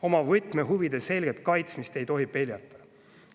Oma võtmehuvide selget kaitsmist ei tohi peljata.